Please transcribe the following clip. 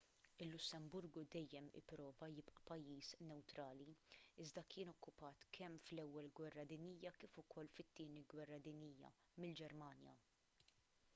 il-lussemburgu dejjem ipprova jibqa' pajjiż newtrali iżda kien okkupat kemm fl-ewwel gwerra dinjija kif ukoll fit-tieni gwerra dinjija mill-ġermanja